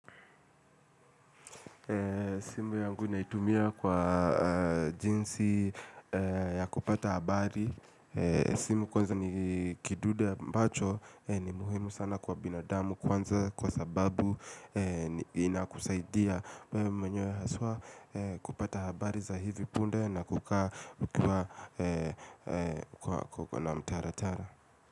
Simu yangu naitumia kwa jinsi ya kupata habari simu kwanza ni kidude mpacho ni muhimu sana kwa binadamu kwanza kwa sababu inakusaidia mwenye haswa kupata habari za hivi punde na kukaa kwa na mtara tara.